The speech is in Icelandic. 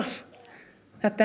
þetta er